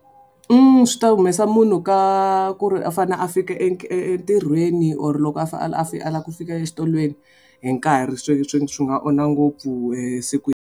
Swi ta humesa munhu ka ku ri a fanele a fika entirhweni or loko a a lava ku fika exikolweni hi nkarhi swi swi swi nga onha ngopfu esikwini.